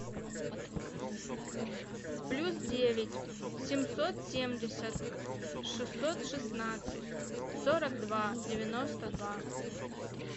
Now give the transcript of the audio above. плюс девять семьсот семьдесят шестьсот шестнадцать сорок два девяносто два